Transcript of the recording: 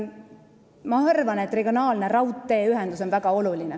Ma arvan, et regionaalne raudteeühendus on väga oluline.